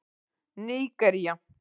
Nígería